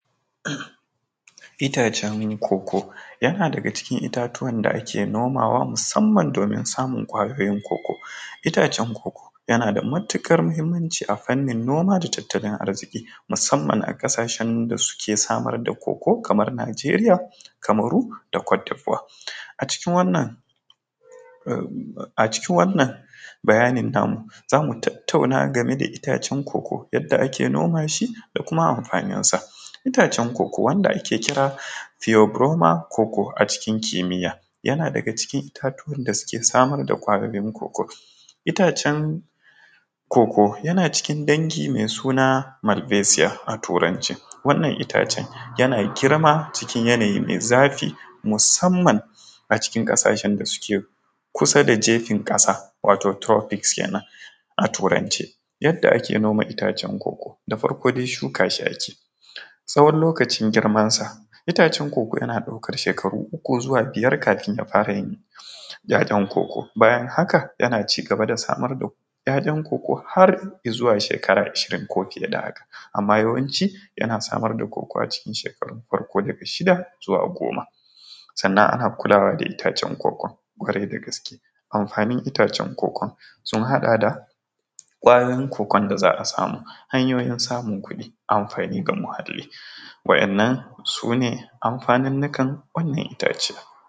Itacen cocoa yana daga cikin itatuwan da ake nomawa musamman domin samun ƙwayoyin cocoa, itacen cocoa yana da matuƙar muhimmanci a fanin noma da tattalin arziƙi musamman a ƙasashen da suke samar da cocoa kamar Nijeriya kamaru cote voire, a cikin wannan bayanin na mu zamu tattanau game da itacen cocoa yadda ake noma shi da kuma amfanin sa, itacen cocoa da ake kira purebromer a cikin kimiya yana daga cikin itatuwan da suke samar da ƙwayoyin cocoa itacen cocoa yana cikin dangi mai suna malbesiya, wannan itacen yana girma cikin yanayi mai zafi musamman a cikin ƙasashen da suke kusa da jefin ƙasa wato tropis kenan a turance, yadda ake noma itacen cocoa, da farko dai shuka shi ake yi tsawon lokacin girmansa itacen cocoa yana ɗaukar shekaru uku zuwa biyar kafin kafin ya fara yin yaɗan cocoa, bayan haka yana cigaba da samar yayan cocoa har izuwa shekara a shirin ko fiye da haka amma yawanci yana samar da cocoa a cikin shekarun farko daga shida zuwa goma, sannan ana kulawa da itacen cocoa kwarai da gaske, amfanin itacen cocoa sun haɗa da ƙwayoyin cocoa da za a samu hanyoyi samun kuɗi amfani ga muhali wɗannan sune amfanin nikan wannan itace.